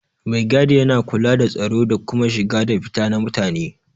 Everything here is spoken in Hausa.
Mai gadi yana kula da tsaro da kuma shiga da fita na mutane.